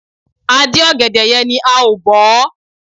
A dín ọ̀gẹ̀dẹ̀ yẹn ni a ò bọ̀ ọ́.